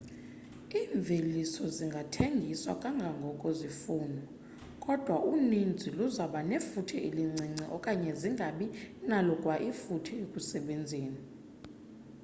iimveliso zingathengiswa kangangoko zifunwa kodwa uninzi luzoba nefuthe elincinci okanye zingabi nalo kwa ifuthe ekusebenzeni